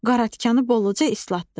Qaratikanı bolca islatdı.